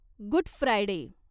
good Friday